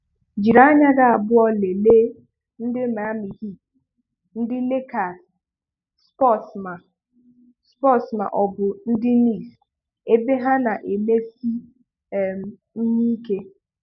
Jiri anya gị abụọ lelee ndị Miami Heat, ndị Lakers, Spurs ma Spurs ma ọ bụ ndị Nicks ebe ha na-emesiị um ihe ike.